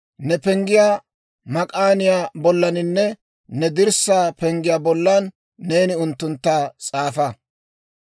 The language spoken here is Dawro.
Ne penggiyaa mak'aaniyaa bollaninne ne dirssaa penggiyaa bollan neeni unttuntta s'aafa.